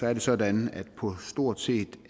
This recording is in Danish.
er det sådan at på stort set